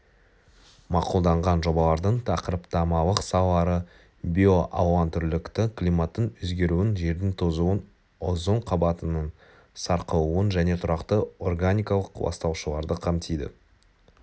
мақұлданған жобалардың тақырыптамалық салалары биоалуантүрлілікті климаттың өзгеруін жердің тозуын озон қабатының сарқылуын және тұрақты органикалық ластаушыларды қамтиды